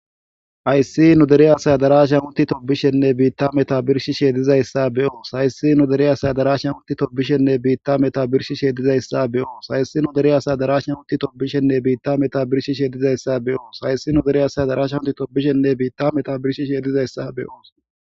Hayis nu dere asay tobishenee bitta meta birishishe dizayisa be'os hayisi nu dere asay tobishenee bitta meta birishishe dizayisa be'os hayisi nu dere asay tobishenee bitta meta birishishe dizayisa be'os hayisi nu dere asay tobishenee bitta meta birishishe dizayisa be'os.